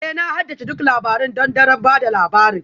Ee Na haddace duk labarun th don daren ba da labari